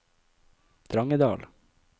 Drangedal